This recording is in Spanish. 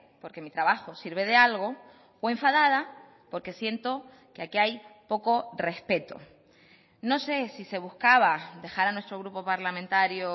porque mi trabajo sirve de algo o enfadada porque siento que aquí hay poco respeto no sé si se buscaba dejar a nuestro grupo parlamentario